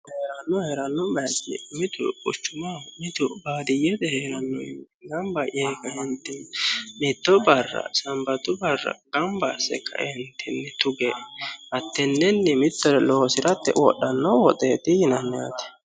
heeranno heeranno baayiichi mitu quchumaho mitu baadiyyete heerannowii ganbba yee ka"eentinni mitto barra sambatu barra gamba asse ka"eentinni tuge hatennennini mittore loosirate wodhanno woxeeti yaate